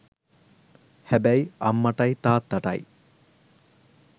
හැබැයි අම්මටයි තාත්තටයි